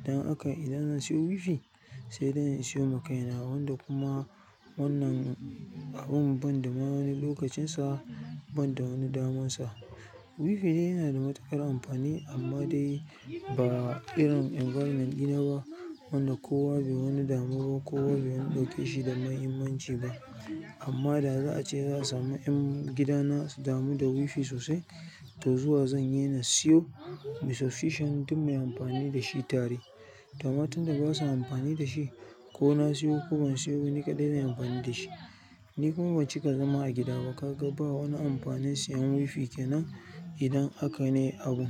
Idan aka, idan zan siyo wifi, sai dai in siyo ma kaina wanda kuma wannan abun ban da ma wani lokacin sa, ban da wani daman sa. Wifi dai yana da matuƙar amfani amma dai ba irin ni ba wanda kowa bai wani damu ko bai wani ɗauke shi da muhimmanci ba amma da za a ce za a sami 'yan gidana su damu da wifi sosai, to zuwa zan daina siyo. Be sufficient muyi amfani da shi tare. Tamatin da ba su amfani da shi ko na siyo ko ban siyo ni kaɗai zan yi amfani da shi. Ni kuma bancika zama a gida ba ka ga ba wani amfanin siyan wifi kenan idan haka ne abun.